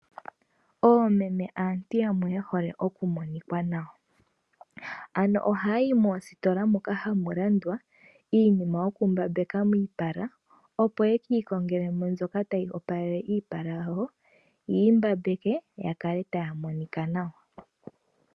Oomeme aantu yamwe yehole okumonika nawa, ano ohayi mostola moka hamu landwa iinima yo kumbambeka iipala opo yeki kongelemo mbyoka tayi opalele iipala yawo , yimbambeke yakale taya monika nawa.